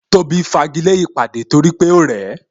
Tóbi fagile ìpàdé torí pé ó rẹ̀ ẹ